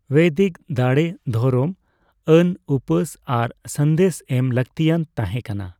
ᱵᱳᱭᱫᱤᱠ ᱫᱟᱬᱮ, ᱫᱷᱚᱨᱚᱢ ᱟᱱ ᱩᱯᱟᱹᱥ ᱟᱨ ᱥᱟᱸᱫᱮᱥ ᱮᱢ ᱞᱟᱹᱠᱛᱤᱭᱟᱱ ᱛᱟᱸᱦᱮ ᱠᱟᱱᱟ ᱾